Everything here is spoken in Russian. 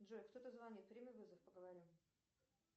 джой кто то звонит прими вызов поговорим